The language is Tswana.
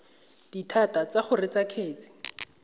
dithata tsa go reetsa kgetse